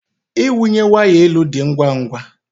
Ịwụnye waya elu dị ngwa ngwa.